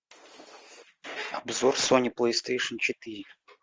обзор сони плейстейшн четыре